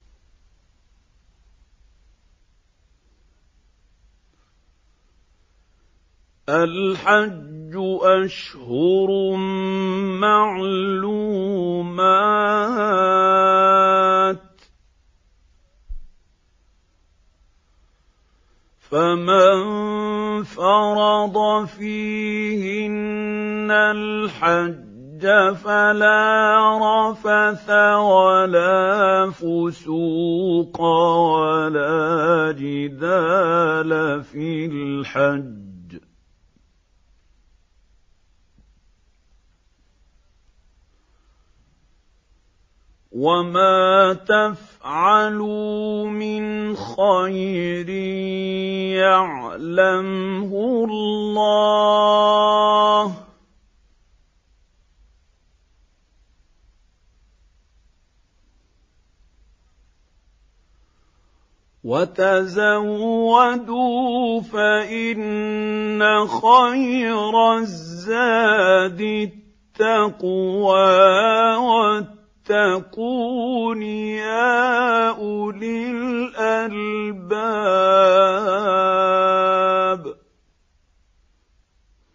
الْحَجُّ أَشْهُرٌ مَّعْلُومَاتٌ ۚ فَمَن فَرَضَ فِيهِنَّ الْحَجَّ فَلَا رَفَثَ وَلَا فُسُوقَ وَلَا جِدَالَ فِي الْحَجِّ ۗ وَمَا تَفْعَلُوا مِنْ خَيْرٍ يَعْلَمْهُ اللَّهُ ۗ وَتَزَوَّدُوا فَإِنَّ خَيْرَ الزَّادِ التَّقْوَىٰ ۚ وَاتَّقُونِ يَا أُولِي الْأَلْبَابِ